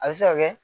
A bɛ se ka kɛ